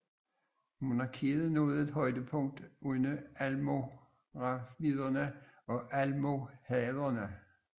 Monarkiet nåede et højdepunkt under almoraviderne og almohaderne